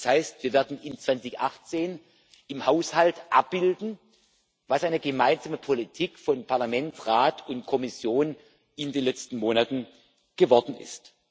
Das heißt, wir werden 2018 im Haushalt abbilden, was aus einer gemeinsamen Politik von Parlament, Rat und Kommission in den letzten Monaten geworden ist.